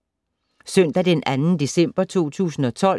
Søndag d. 2. december 2012